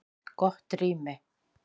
Gott rými